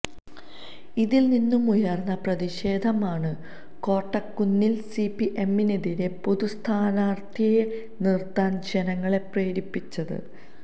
ഇതില് നിന്നുമുയര്ന്ന പ്രതിഷേധമാണ് കോട്ടക്കുന്നില് സിപിഎമ്മിനെതിരെ പൊതുസ്ഥാനാര്ത്ഥിയെ നിര്ത്താന് ജനങ്ങളെ പ്രേരിപ്പിച്ചത്